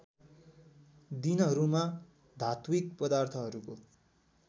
दिनहरूमा धात्विक पदार्थहरूको